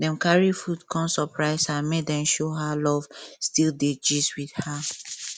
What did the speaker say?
dem carry food come surprise her make dem show her love still dey gist with her